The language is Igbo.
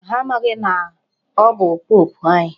Ha amaghị na ọ bụ pope anyị.